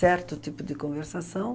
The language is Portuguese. Certo tipo de conversação.